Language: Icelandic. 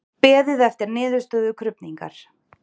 Beðið er niðurstöðu krufningar